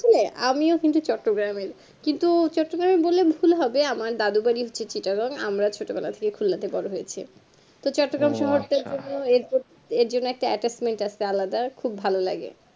chilli আমিও কিন্তু চট্টগ্রাম এর কিন্তু চট্টগ্রাম বললে ভুল হবে আমার দাদুর বাড়ি হচ্ছে চট্টগণ